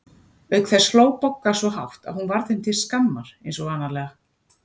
Auk þess hló Bogga svo hátt að hún varð þeim til skammar eins og vanalega.